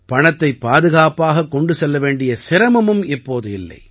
பணத்தைப் பாதுகாப்பாகக் கொண்டு செல்ல வேண்டிய சிரமமும் இப்போது இல்லை